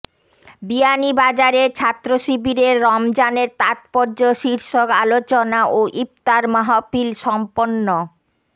বিয়ানীবাজারে ছাত্রশিবিরের রমজানের তাৎপর্য শীর্ষক আলোচনা ও ইফতার মাহফিল সম্পন্ন